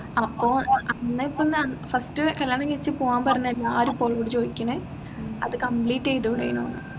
അപ്പോ അന്ന് ഇപ്പൊ first കല്യാണം കഴിച്ച് പോവാൻ പറഞ്ഞ എല്ലാരും ഇപ്പൊ ഓളോട് ചോദിക്കുന്നു അത് complete ചെയ്തുടെനൂന്ന്